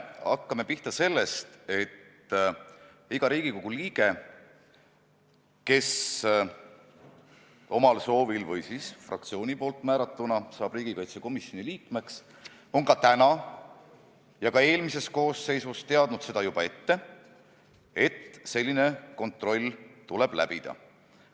Hakkame pihta sellest: iga Riigikogu liige, kes omal soovil või siis fraktsioonist määratuna saab riigikaitsekomisjoni liikmeks, on praegu ja ka eelmises koosseisus teadnud seda juba ette, et selline kontroll tuleb läbida.